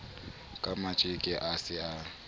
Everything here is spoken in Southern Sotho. ka matjeke a se a